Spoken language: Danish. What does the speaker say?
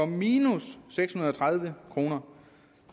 minus seks hundrede og tredive kroner